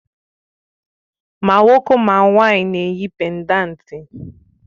Mà nwoke ma nwanyị na-eyi péndántí